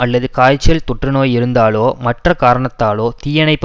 அல்லது காய்ச்சல் தொற்றுநோய் இருந்தாலோ மற்ற காரணத்தாலோ தீயணைப்பு